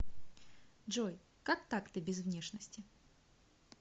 джой как так ты без внешности